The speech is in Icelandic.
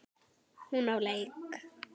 Hún á leik.